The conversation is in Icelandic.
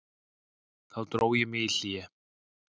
Þá dró ég mig í hlé.